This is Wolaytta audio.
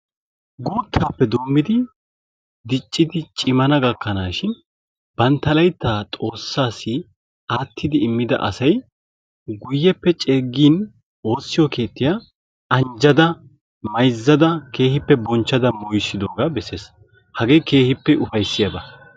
Guuttaappe doommidi diccidi cimana gakkanaashin bantta layittaa xoossaassi aattidi immida asay guyyeppe ceeggin woossiyo keettiya anjjada, mayizzada keehippe bonchchada moyisidoogaa besses. Hagee keehippe upayissiyaaba.